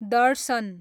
दर्शन